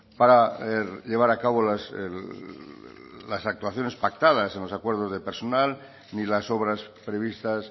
para llevar a cabo las actuaciones pactadas en los acuerdos de personal ni las obras previstas